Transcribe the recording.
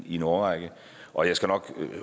i en årrække og jeg skal nok